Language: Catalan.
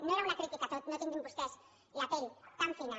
no era una crítica a tot no tinguin vostès la pell tan fina